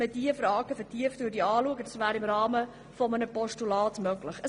Diese Fragen könnten im Rahmen eines Postulats vertieft betrachtet werden.